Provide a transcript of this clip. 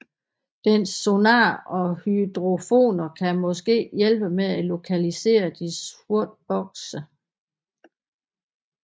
Dens sonar og hydrofoner kan måske hjælpe med at lokalisere de sorte bokse